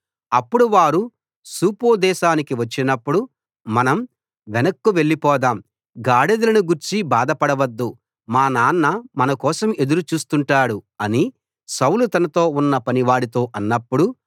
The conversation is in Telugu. అప్పుడు వారు సూపు దేశానికి వచ్చినప్పుడు మనం వెనక్కు వెళ్ళిపోదాం గాడిదలను గూర్చి బాధపడ వద్దు మా నాన్న మనకోసం ఎదురు చూస్తుంటాడు అని సౌలు తనతో ఉన్న పనివాడితో అన్నప్పుడు